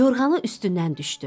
Yorğanı üstündən düşdü.